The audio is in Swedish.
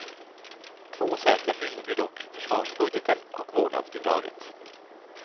Två säkra fynd blir dock försvarsbudgeten och vårdnadsbidraget.